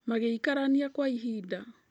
Magĩkararania kwa ihinda.